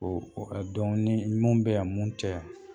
O o ka dɔn ni mun bɛ yan mun tɛ yan.